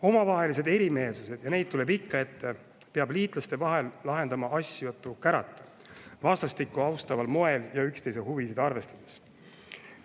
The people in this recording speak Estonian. Omavahelised erimeelsused – ja neid tuleb ikka ette – peab liitlaste vahel lahendama asjatu kärata ning vastastikku austaval moel ja üksteise huvisid arvestades.